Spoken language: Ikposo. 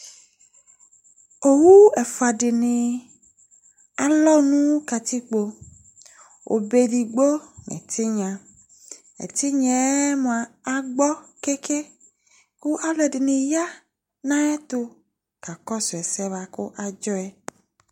owu efuadini alonukatikpo obedigbo etinyedigbo etinyae agbokenken ku alondiniya nayetou kakosuese buakadjoye